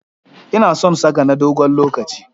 Ina son saka na dogon lokaci.